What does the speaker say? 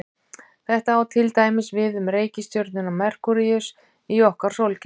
Þetta á til dæmis við um reikistjörnuna Merkúríus í okkar sólkerfi.